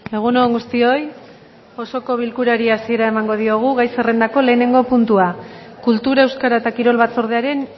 egun on guztioi osoko bilkurari hasiera emango diogu gai zerrendako lehenengo puntua kultura euskara eta kirol batzordearen